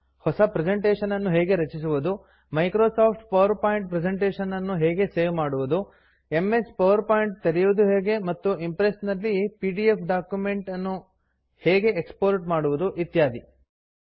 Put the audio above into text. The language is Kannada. ಹೊಸ ಪ್ರೆಸೆಂಟೇಷನ್ ಅನ್ನು ಹೇಗೆ ರಚಿಸುವುದು Microsoft PowerPoint presentation ಅನ್ನು ಹೇಗೆ ಸೇವ್ ಮಾಡೋದು ಎಂಎಸ್ ಪವರ್ ಪಾಯಿಂಟ್ ತೆರೆಯುವುದು ಹೇಗೆ ಮತ್ತು ಇಂಪ್ರೆಸ್ ನಲ್ಲಿ ಪಿಡಿಎಫ್ ಡಾಕ್ಯುಮೆಂಟ್ ಅನ್ನು ಹೇಗೆ ಎಕ್ಸ್ ಪೋರ್ಟ್ ಮಾಡುವುದು ಇತ್ಯಾದಿ